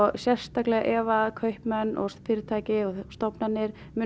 sérstaklega ef að kaupmenn og fyrirtæki og stofnanir munu